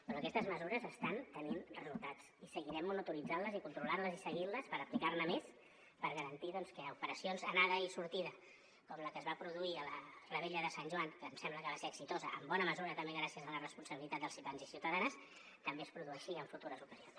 però aquestes mesures estan tenint resultats i seguirem monitoritzant les i controlant les i seguint les per aplicar ne més per garantir doncs que operacions anada i sortida com la que es va produir a la revetlla de sant joan que em sembla que va ser exitosa en bona mesura també gràcies a la responsabilitat dels ciutadans i ciutadanes també es produeixi en futures ocasions